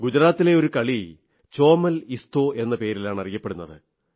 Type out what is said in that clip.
ഗുജറാത്തിലെ ഒരു കളി ചോമൽഇസ്തോ എന്ന പേരിലാണ് അറിയപ്പെടുന്നത്